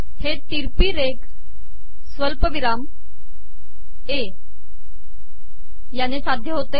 हे ितरकी रेघ सवलपिवराम ए याने साधय होते